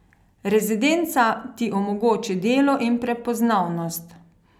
Rezidenca ti omogoči delo in prepoznavnost.